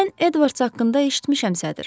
Mən Edvards haqqında eşitmişəm, sədr.